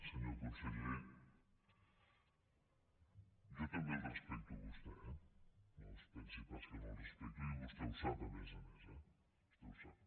senyor conseller jo també el respecto a vostè eh no es pensi pas que no el respecto i vostè ho sap a més a més eh vostè ho sap